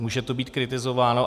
Může to být kritizováno.